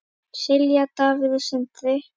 Silja, Davíð og Sindri.